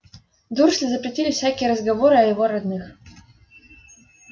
дурсли запретили всякие разговоры о его родных